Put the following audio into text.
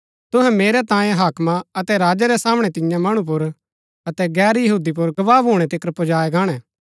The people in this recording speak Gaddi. तुसै मेरै तांयें हाकमा अतै राजा रै सामणै तियां मणु पुर अतै गैर यहूदी पुर गवाह भूणै तिकर पुजायै गाणै